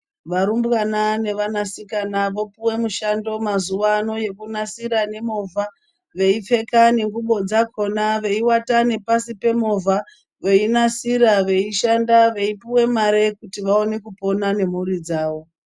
Varumbwana ne vanasikana vopiwa mushando mazuva ano yekunasira ngemocha veipfeka ngengubo dzakona veiwata nepasi pemovha veyinasira veyishanda veipuwa mare kuti vaone kupona nemhuri dzavo.